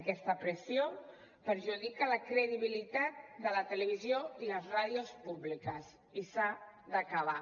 aquesta pressió perjudica la credibilitat de la televisió i les ràdios públiques i s’ha d’acabar